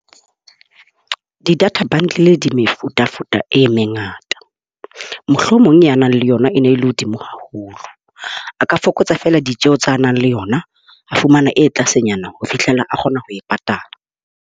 Di-data bundle di mefutafuta e mengata. Mohlomong ya nang le yona e ne le hodimo haholo, a ka fokotsa fela ditjeo tsa nang le yona a fumana e tlasenyana ho fihlela kgona ho e patala.